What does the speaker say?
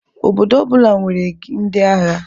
Obodo ọ bụla nwere ndị agha.